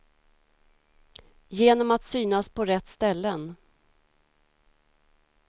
Genom att synas på rätt ställen.